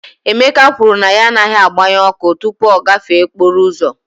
Emeka kwuru na ya agaghị agbanye ọkụ tupu ọ gafee okporo ụzọ